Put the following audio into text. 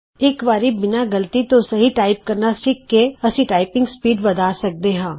ਇਕਵਾਰੀ ਬਿਨਾਂ ਗਲਤੀ ਤੋਂ ਸਹੀ ਟਾਈਪ ਕਰਨਾ ਸਿੱਖ ਕੇ ਅਸੀਂ ਟਾਈਪਿੰਗ ਸਪੀਡ ਵੱਧਾ ਸਕਦੇ ਹਾਂ